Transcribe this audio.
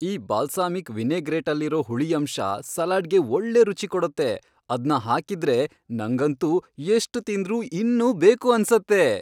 ಈ ಬಾಲ್ಸಾಮಿಕ್ ವಿನೆಗ್ರೇಟಲ್ಲಿರೋ ಹುಳಿ ಅಂಶ ಸಲಾಡ್ಗೆ ಒಳ್ಳೆ ರುಚಿ ಕೊಡತ್ತೆ, ಅದ್ನ ಹಾಕಿದ್ರೆ ನಂಗಂತೂ ಎಷ್ಟ್ ತಿಂದ್ರೂ ಇನ್ನೂ ಬೇಕು ಅನ್ಸತ್ತೆ.